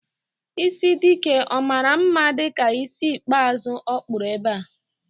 Ịsị Dike ọ maara mma dịka ísí ikpeazụ ọ kpụrụ ebe a?